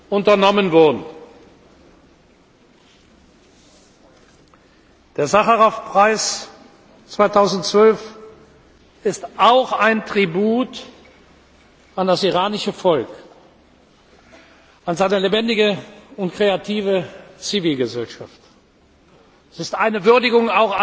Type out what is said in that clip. unternommen wurden. Der Sacharow Preis 2012 ist auch ein Tribut an das iranische Volk, an seine lebendige und kreative Zivilgesellschaft. Er ist auch eine Würdigung